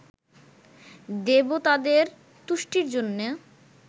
দেবতাদের তুষ্টির জন্য